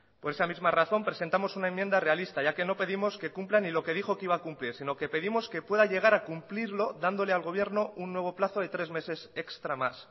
por esa misma razón presentamos una enmienda realista ya que no pedimos que cumpla ni lo que dijo que iba a cumplir sino que pedimos que pueda llegar a cumplirlo dándole al gobierno un nuevo plazo de tres meses extra más